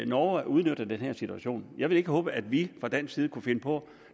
norge udnytter den her situation jeg vil ikke håbe at vi fra dansk side kunne finde på